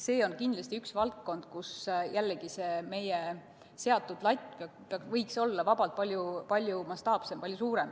See on kindlasti üks valdkond, kus jällegi meie seatud latt võiks olla vabalt palju-palju kõrgemal.